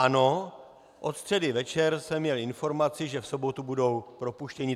Ano, od středy večer jsem měl informaci, že v sobotu budou propuštěni.